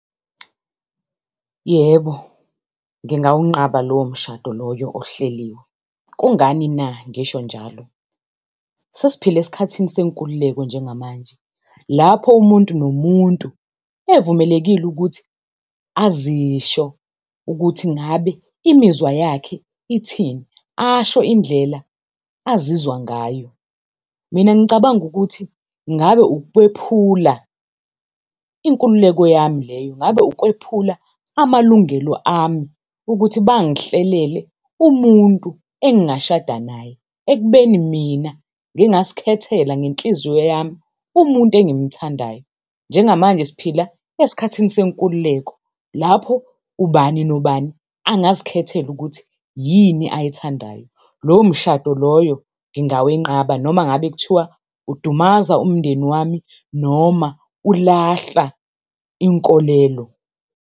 Yebo, ngingawunqaba lowo mshado loyo ohleliwe. Kungani na ngisho njalo? Sesiphila esikhathini senkululeko njengamanje, lapho umuntu nomuntu evumelekile ukuthi azisho ukuthi ngabe imizwa yakhe ithini, asho indlela azizwa ngayo. Mina ngicabanga ukuthi ngabe ukwephula inkululeko yami leyo, ngabe ukwephula amalungelo ami ukuthi bangihlelele umuntu engashada naye, ekubeni mina ngingazikhethela ngenhliziyo yami umuntu engimthandayo. Njengamanje siphila esikhathini senkululeko, lapho ubani nobani angazikhethela ukuthi yini ayithandayo. Lowo mshado loyo ngingawenqaba noma ngabe kuthiwa udumaza umndeni wami noma ulahla inkolelo.